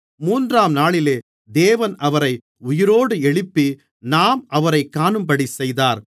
மூன்றாம்நாளிலே தேவன் அவரை உயிரோடு எழுப்பி நாம் அவரைக் காணும்படிச்செய்தார்